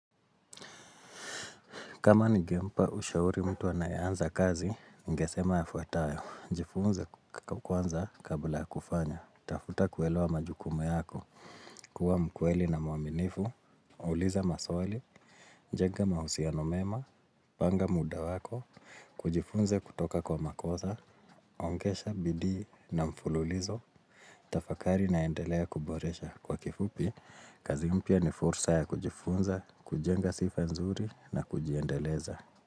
Kama ningempa ushauri mtu anayeanza kazi, ningesema yafuatayo. Jifunze kwanza kabla ya kufanya. Tafuta kuelewa majukumu yako, kuwa mkweli na mwaminifu, uliza maswali, jenga mahusiano mema, panga muda wako, hujifunze kutoka kwa makosa. Ongeza bidii na mfululizo, tafakari naendelea kuboresha kwa kifupi, kazi mpya ni fursa ya kujifunza, kujenga sifa nzuri na kujiendeleza.